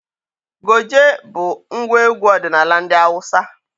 Goje bụ ngwa egwu ọdinala ndị Awụsa.